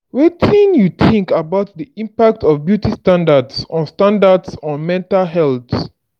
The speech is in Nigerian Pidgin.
wetin you think about di impact of beauty standards on standards on mental health?